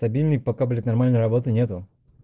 стабильник пока блять нормальной работы нету